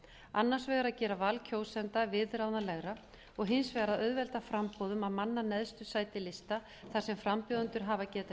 annars vegar að gera val kjósenda viðráðanlegra og hins vegar að auðvelda framboði um að manna neðstu sæti lista þar sem frambjóðendur hafa getað